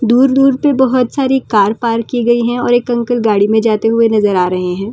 दूर-दूर पे बहुत सारी कार पार्क की गई है और एक अंकल गाड़ी में जाते हुए नजर आ रहे हैं ।